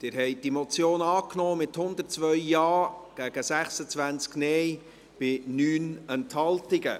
Sie haben diese Motion angenommen, mit 102 Ja- gegen 26 Nein-Stimmen bei 9 Enthaltungen.